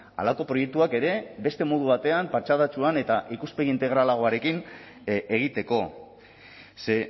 halako proiektuak ere beste modu batean patxadatsuan eta ikuspegi integralagoarekin egiteko ze